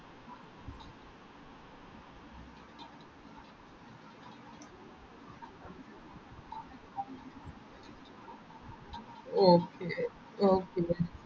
okay okay